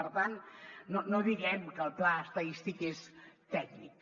per tant no diguem que el pla estadístic és tècnic